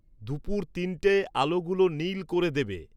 দুপুুর তিনটেয় আলোগুলো নীল করে দেবে